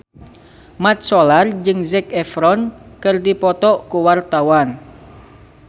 Mat Solar jeung Zac Efron keur dipoto ku wartawan